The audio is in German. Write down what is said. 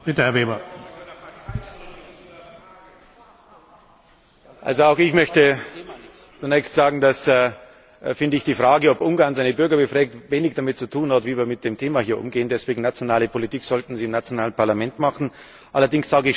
Auch ich möchte zunächst sagen, dass meiner Meinung nach die Frage, ob Ungarn seine Bürger befragt, wenig damit zu tun hat, wie wir mit dem Thema hier umgehen. Deswegen Nationale Politik sollten Sie im nationalen Parlament machen. Allerdings sage ich schon sehr deutlich dazu Die Linke fordert ja dauernd, die Bürger zu beteiligen und einzubinden.